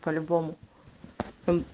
по любому он